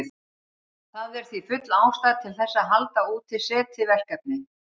Það er því full ástæða til þess að halda úti SETI-verkefni.